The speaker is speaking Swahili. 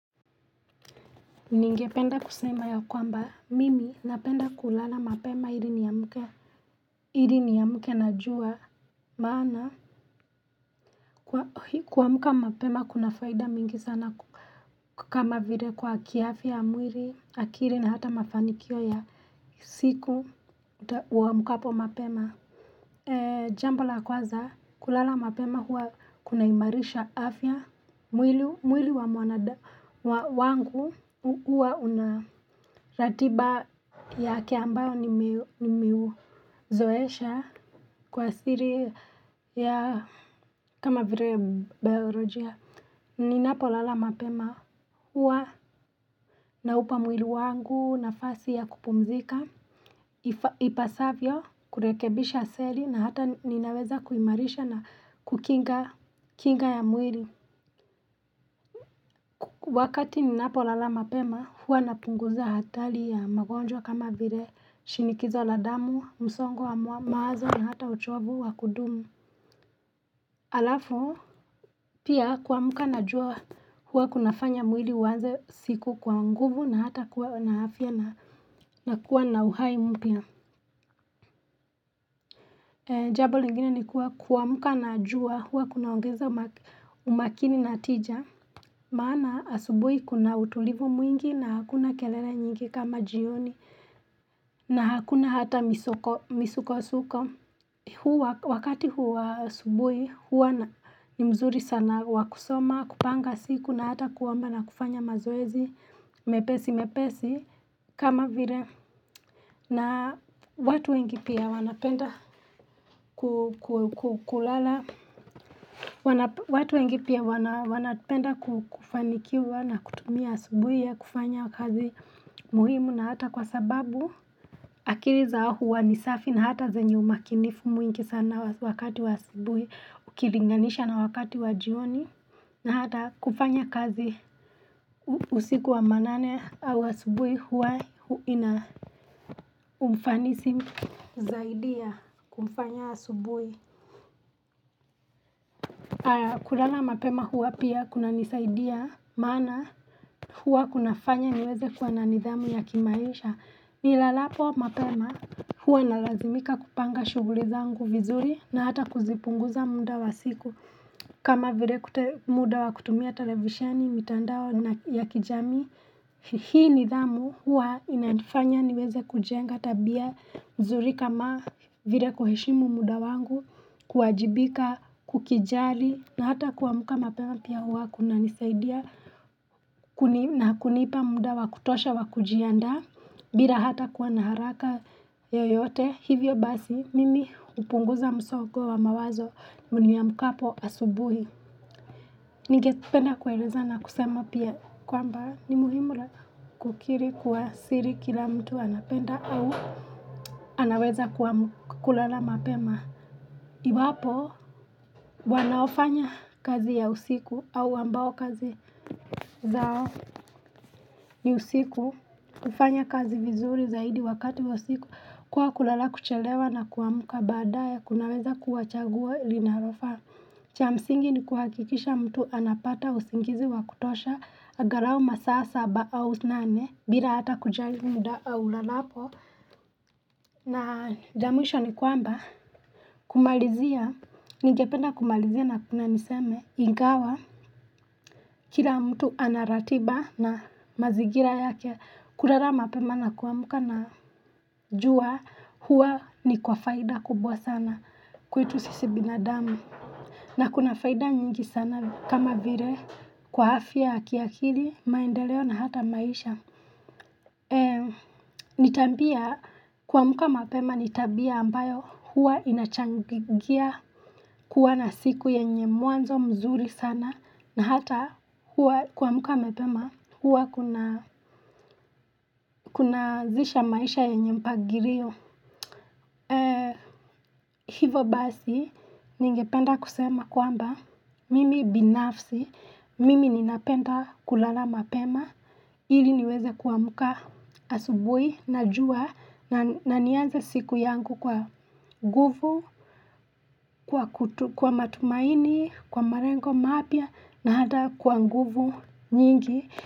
Ningependa kusema ya kwamba mimi napenda kulala mapema ili niamke ili niamke na jua maana kuamuka mapema kuna faida mingi sana kama vile kwa kiafya mwili akiri na hata mafanikio ya siku wa mkapo mapema ee jambo la kwaza kulala mapema huwa kunaimarisha afya mwili wa mwanada wangu huwa una ratiba ya kiambayo nimiuzoesha kwa siri ya kama vire beorojia Ninapo lala mapema huwa na upa mwili wangu na fasi ya kupumzika ipasavyo kurekebisha seli na hata ninaweza kuimarisha na kukinga ya mwili Wakati ninapo lala mapema huwa napunguza hatali ya magonjwa kama vire shinikizo la damu, msongo wa maazo na hata uchovu wa kudumu Alafu, pia kuamuka na jua hua kuna fanya mwili uwanze siku kwa nguvu na hata kuwa na hafya na kuwa na uhai mpia Jabo lingine ni kuwa kuamuka na jua hua kuna ongezo umakini natija maana asubui kuna utulivu mwingi na hakuna kelene nyingi kama jioni na hakuna hata misuko-suko wakati huwa subui huwa ni mzuri sana wakusoma kupanga siku na hata kuwamba na kufanya mazwezi mepesi mepesi kama vire na watu wengi pia wanapenda kukulala watu wengi pia wanapenda kufanikiwa na kutumia subui ya kufanya kazi muhimu na hata kwa sababu akiriza huwa ni safi na hata zenyu makinifu mwingi sana na wakati wa subui, ukilinganisha na wakati wa jioni, na hata kufanya kazi usiku wa manane wa subui hua ina umfanisi zaidia kufanya wa subui. Kulala mapema hua pia kuna nisaidia mana hua kuna fanya niweze kwa na nidhamu ya kimaisha. Nilalapo mapema hua inalazimika kupanga shuguli zangu vizuri na hata kuzipunguza munda wa siku kama vile kutemuda wa kutumia televisiani mitandao ya kijami Hii nidhamu huwa inaifanya niweze kujenga tabia mzuri kama vile kuhishimu muda wangu kuajibika kukijali na hata kuamuka mapema pia huwa kuna nisaidia na kunipa muda wa kutosha wa kujianda bila hata kuwa naharaka yoyote Hivyo basi, mimi upunguza msogo wa mawazo mni ya mkapo asubuhi. Nige penda kueleza na kusema pia kwamba ni mulimula kukiri kuwa siri kila mtu anapenda au anaweza kulala mapema. Iwapo, wanaofanya kazi ya usiku au ambao kazi zao ni usiku, ufanya kazi vizuri zaidi wakati usiku. Kwa kulala kuchelewa na kuamuka badaya, kunaweza kuachagua ilinarofa Chamsingi ni kuhakikisha mtu anapata usingizi wa kutosha agarau masasa ba au zinane bila hata kujali mda au lalapo na jamwisho ni kwamba, kumalizia, nigependa kumalizia na kuna niseme Ingawa, kila mtu anaratiba na mazigira yake Kurara mapema na kuwa muka na juwa huwa ni kwa faida kubwa sana kuitu sisi binadami. Na kuna faida nyingi sana kama vire kwa hafia, kiakiri, maendeleo na hata maisha. Nitambia kuwa muka mapema nitabia ambayo huwa inachangigia kuwa na siku yenye muanzo mzuri sana. Na hata kuwa muka mepema, huwa kuna zisha maisha ya nyempa gireo. Hivo basi, ningependa kusema kwamba, mimi binafsi, mimi ninapenda kulala mapema, hili niweze kuwa muka asubui, najua, na nianze siku yangu kwa guvu, kwa matumaini, kwa marengo mapia, na hata kuwa nguvu nyingi.